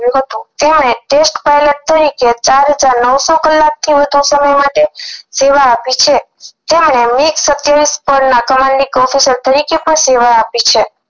તેઓને test pilot તરીકે ચાર હજાર નવસો કલાક થી વધુ સામે માટે સેવા આપી છે તેઅંને મિક્સ સતાયવીસ સેવા આપી છે